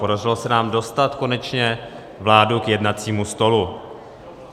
Podařilo se nám dostat konečně vládu k jednacímu stolu.